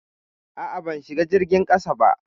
A'a, ban shiga jirgin ƙasa ba.